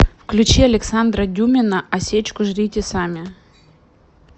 включи александра дюмина а сечку жрите сами